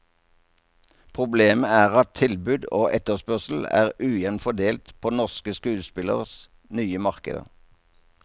Problemet er at tilbud og etterspørsel er ujevnt fordelt på norske skuespilleres nye markeder.